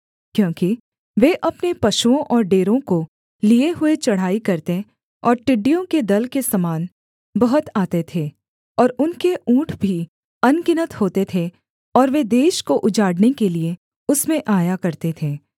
क्योंकि वे अपने पशुओं और डेरों को लिए हुए चढ़ाई करते और टिड्डियों के दल के समान बहुत आते थे और उनके ऊँट भी अनगिनत होते थे और वे देश को उजाड़ने के लिये उसमें आया करते थे